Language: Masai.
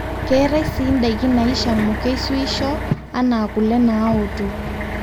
keetae sii ndaiki naishamu keisuisho anaa kule naoto